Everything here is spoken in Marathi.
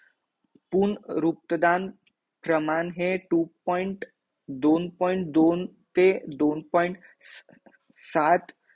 पूर्ण रूक्तदान हे प्रमाणे two point दोन point दोन ते साठ न अ